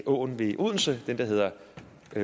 åen ved odense den der hedder